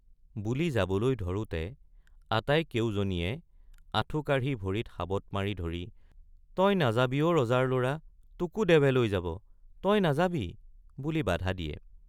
—বুলি যাবলৈ ধৰোতে আটাই কেউজনীয়ে আঠুকাঢ়ি ভৰিত সাৱট মাৰি ধৰি তই নাযাবি অ ৰজাৰ লৰা—তোকে দেৱে লৈ যাব—তই নাযাবি বুলি বাধা দিয়ে।